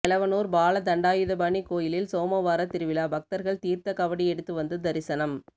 எலவனூர் பால தண்டாயுதபாணி கோயிலில் சோமவார திருவிழா பக்தர்கள் தீர்த்த காவடி எடுத்து வந்து தரிசனம்